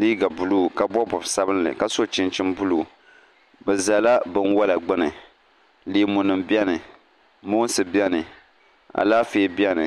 liiga buluu ka bob bob sabinli ka so chinchin buluu bi ʒɛla binwola gbuni leemu nim biɛni moonsi biɛni alaafee biɛni